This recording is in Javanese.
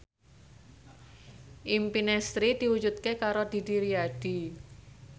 impine Sri diwujudke karo Didi Riyadi